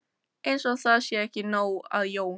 Eins og það sé ekki nóg að Jón